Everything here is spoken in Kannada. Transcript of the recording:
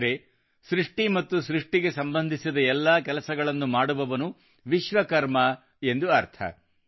ಅಂದರೆ ಸೃಷ್ಟಿ ಮತ್ತು ಸೃಷ್ಟಿಗೆ ಸಂಬಂಧಿಸಿದ ಎಲ್ಲಾ ಕೆಲಸಗಳನ್ನು ಮಾಡುವವನು ವಿಶ್ವಕರ್ಮ ಎಂದರ್ಥ